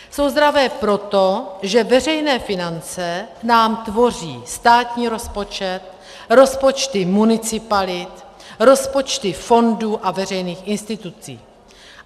Jsou zdravé proto, že veřejné finance nám tvoří státní rozpočet, rozpočty municipalit, rozpočty fondů a veřejných institucí.